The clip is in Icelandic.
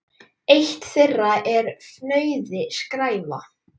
Eitt þeirra er fnauði: skræfa.